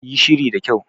Yi shiri da kyau.